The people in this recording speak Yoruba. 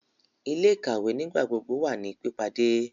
Ile-ikawe nigbagbogbo wa ni pipade